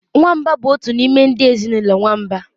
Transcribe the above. Nwamba bụ otu n'ime ndị ezinụlọ nwamba